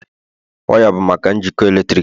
waya bụ maka njikọ eletrik